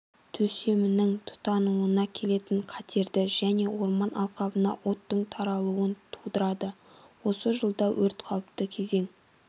төсемнің тұтануына келетін қатерді және орман алқабына оттың таралуын тудырады осы жылда өрт қауіпті кезеңі